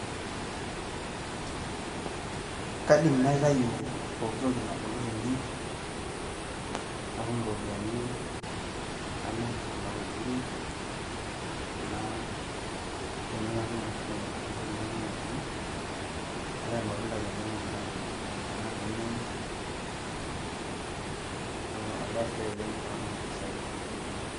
kaidim naitayu pooki toki nabulu tene, natum iropiyiani, namir kuna tokitin. kuna benek natuuno ashu pooki toki natuuno tene, naitau irmatunda lenyanak metaa, ilainyiangak oinyang'u, neeku ebae sidai oleng pee atum impisai naitumia.